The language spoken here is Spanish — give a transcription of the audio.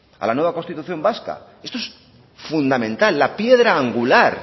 a la nueva constitución vasca esto es fundamental la piedra angular